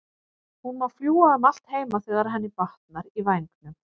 Hún má fljúga um allt heima þegar henni batnar í vængnum.